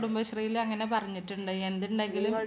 കുടുംബശ്രീയില് അങ്ങനെ പറഞ്ഞിട്ടുണ്ട്. എന്തുണ്ടെങ്കിലും